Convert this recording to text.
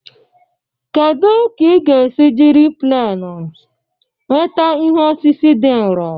Kedu ka ị ga-esi jiri pleenu nweta ihu osisi dị nro?